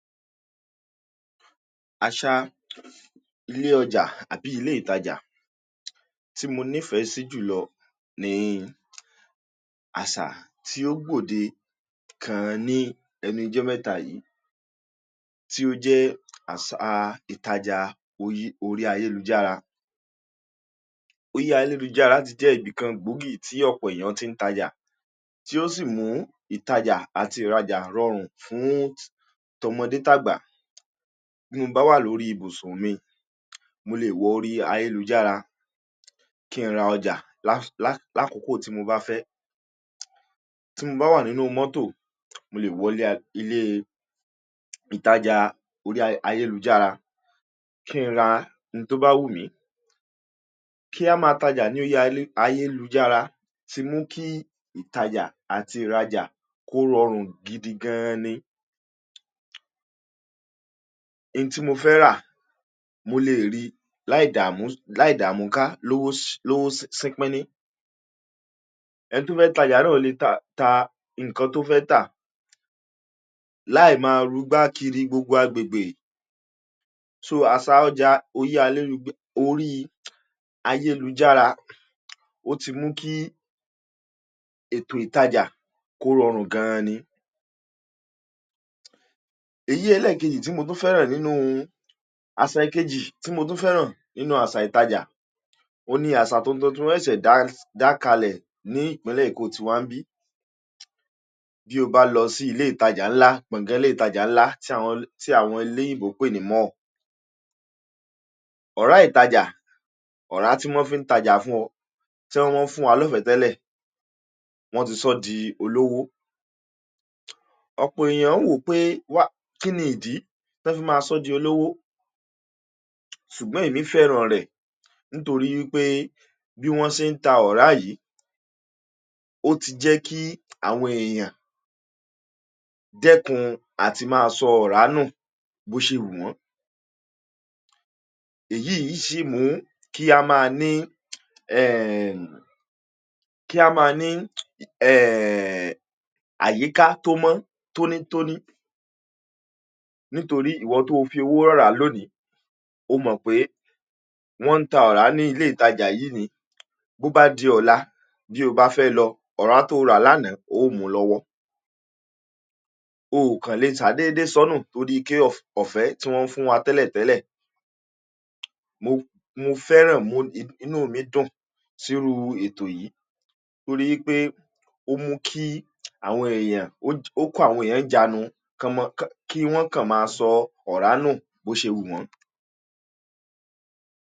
Aṣa ilé ọjà ábi ilé ìtàjá tí mo nífẹ sí jùlọ ní àsà tí ó gbòóde káán ní ẹnu ọjọ́ mẹ́tàyí, tí ó jẹ àṣá ìtàjá orí ayélujára. Ori ayélujára ti jẹ ibi kán gbógì tí ọ̀pọ̀ èèyàn tí ń tàjá, tí ó sì mú ìtàjá àti ìràjá rọrùn fún t'ómọdé t'ágbà. Bí mo bá wà lórí ibùsun mi, mo lè wọ́ orí ayélujára kí n ra ọjà lá-lákókò tí mo bá fẹ. Tí mo bá wà nínú mọ́tò, mo lè wọ ilé, ilé ìtàjá orí ayélujára kí n ra ń tó bá wù mí. Kí a má tàjá ní orí ayélujára tí mú kí ìtàjá àti ìràjá kó rọrùn gidigáán ni. Ntí mo fẹ́ rà, mo lè ri láìdá mu, láìdá múnká, lowó, lowó sín-pi-ní. Ẹni to fẹ́ tàjà naa lee ta nkan tí ó fẹ́ tà, láìmọ̀ rúgbáàkiri gbogbo agbegbe. So àsà ọjà orí, orí ayélujára ó ti mú kí ètò ìtàjá kó rọrùn gan aní. Èyí ẹlẹ́ẹ̀kéjì tí mo tún fẹ́ràn nínú, aṣá ekejì tí mo tún fẹ́ràn nínú àsà ìtàjá o ni àṣà tuntun tí mo ṣe dáadá kalẹ̀ ní ìpínlẹ̀ Eko ti Wambí. Bí o bá lọ sí ilé ìtàjá ńlá, gbongon ilé ìtàjá ńlá tí àwọn, tí àwọn ilé ìbòpè ni mọ̀. Ọ̀rá ìtàjá, ọ̀rá tí wọn fi ń tàjà fún ọ, tí wọ́n fi ń fun wa lọ́fẹ̀ẹ́ tẹ́lẹ̀, wọn ti sọ di olówó. Ọ̀pọ̀ èèyàn ń wò pé wá, kíníì idi tẹ́ fi máa sọ di olówó, ṣùgbọ́n èmi fẹ́ràn rẹ̀, nitori pé bí wọn sin ta ọ̀rá yìí, ó ti jẹ́ kí àwọn èèyàn dẹ́kun àti ma sọ ọ̀rá nú, bó ṣe wu wọn. Èyí iṣì mú kí a má ni,, kí a má ni, àyíká tó mọ́ t'óní t'óní, nítorí ìwọ tó fi owó rọrà lónìí, o mọ̀ pé wọn n ta ọ̀rá ní ilé ìtàjá yìí ni. Bí o bá di ọ̀lá, bí o bá fẹ́ lọ, ọ̀rá tó rà lánàá o múu lọ wọ́. Oo kán lè ṣàdéédé sọ́nù torí i pe ọfẹ tí wọn fún wa tẹ́lẹ̀tẹ́lẹ̀. Mo, mo fẹ́ràn inú mi dùn síru ètò yìí torí pé ó mú kí àwọn èèyàn, ó kò áwọn ẹ̀yàn ńi ijanu ki wọn kan máa sọ ọ̀rá nú, bó ṣe wu wọn.